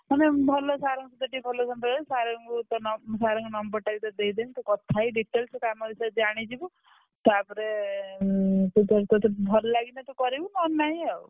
ମାନେ ଭଲ sir ଙ୍କ ସହିତ ଟିକେ ଭଲ ସମ୍ପର୍କ sir ଙ୍କ number ଟା ବିତତେ ଦେଇଦେବି ତୁ କଥାହେଇ details ସେ କାମ ବିଷୟରେ ଜାଣିଯିବୁ ତାପରେ ତୁ ତୋର ତୋତେ ତୋତେ ଭଲ ଲାଗିଲେ ତୁ କରିବୁ ନହେଲେ ନାଇ ଆଉ।